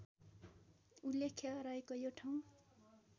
उल्लेख्य रहेको यो ठाउँ